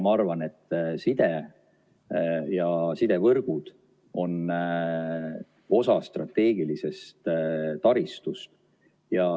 Ma arvan, et side ja sidevõrgud on osa strateegilisest taristust.